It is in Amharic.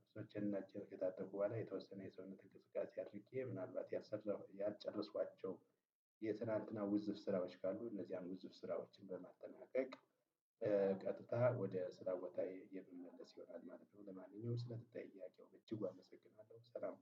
ልብሶቸን እና እጀን ከታጠብሁ በኋላ የተወሰነ የሰውነት እንቅስቃሴ አድርጌ ምናልባት ያልሰራሁ ያልጨረሷኋቸው። የትናተና ውዝፍ ስራዎች ካሉ እነዚያን ውዝፍ ስራዎችን በማጠናቀቅ። ቀጥታ ወደ ስራ ቦታየ የምመለስ ይሆናል ማለት ነው። ለማንኛውም ስለ ጥያቄው በእጅጉ አመሰግናለሁ ሰላም።